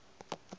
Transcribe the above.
a be a sa mo